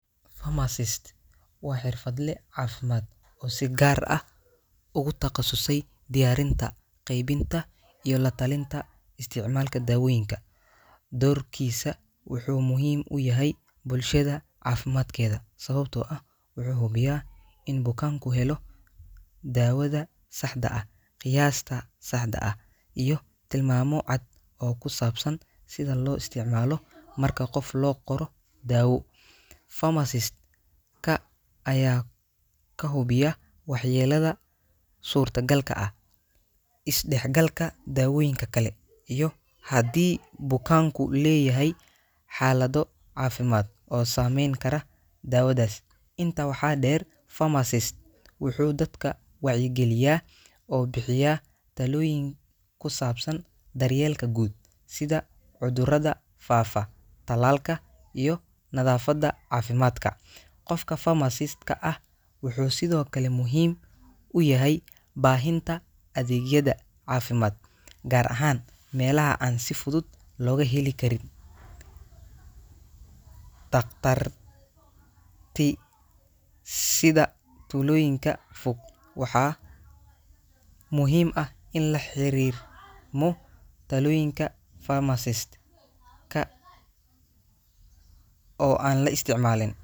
Pharmacist waa xirfadle caafimaad oo si gaar ah ugu takhasusay diyaarinta, qaybin­ta, iyo la-talinta isticmaalka dawooyinka. Doorkiisa wuxuu muhiim u yahay bulshada caafimaadkeeda, sababtoo ah wuxuu hubiyaa in bukaanku helo daawada saxda ah, qiyaasta saxda ah, iyo tilmaamo cad oo ku saabsan sida loo isticmaalo. Marka qof loo qoro daawo, pharmacist-ka ayaa ka hubiya waxyeellada suurtagalka ah, isdhexgalka daawooyinka kale, iyo haddii bukaanku leeyahay xaalado caafimaad oo saameyn kara daawadaas. Intaa waxaa dheer, pharmacist wuxuu dadka wacyigeliyaa oo bixiyaa talooyin ku saabsan daryeelka guud, sida cudurrada faafa, tallaalka, iyo nadaafadda caafimaadka. Qofka pharmacist-ka ah wuxuu sidoo kale muhiim u yahay baahinta adeegyada caafimaad, gaar ahaan meelaha aan si fudud looga helin Karin dhakhtarti sida tuulooyinka fog. Waxaa muhiim ah in la xiriirmo talooyinka pharmacist-ka oo aan la isticmaalin .